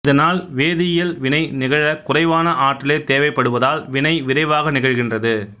இதனால் வேதியியல் வினை நிகழக் குறைவான ஆற்றலே தேவைப்படுவதால் வினை விரைவாக நிகழ்கின்றது